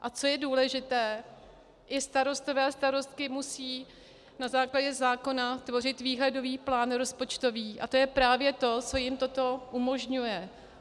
A co je důležité - i starostové a starostky musí na základě zákona tvořit výhledový plán rozpočtový a to je právě to, co jim toto umožňuje.